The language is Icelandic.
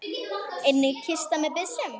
Einnig kista með byssum.